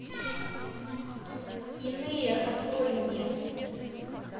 иные открой мне